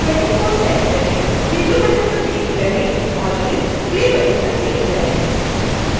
preview button पर click करें और फिर play बटन पर क्लिक करें